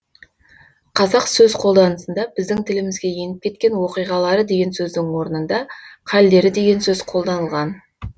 қазақ сөз қолданысында біздің тілімізге еніп кеткен оқиғалары деген сөздің орнында қалдері деген сөз қолданылған